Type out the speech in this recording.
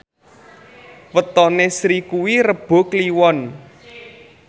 wetone Sri kuwi Rebo Kliwon